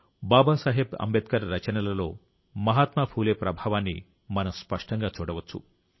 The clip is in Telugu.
బాబాసాహెబ్ అంబేద్కర్ రచనలలో మహాత్మా ఫూలే ప్రభావాన్ని మనం స్పష్టంగా చూడవచ్చు